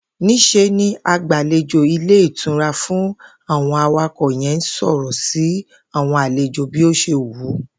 Ní s̩e ni agbàlejò ilé ìtura fún àwo̩n awakò̩ ye̩n ń sò̩rò̩ sí àwo̩n àlejò bí ó s̩e wùú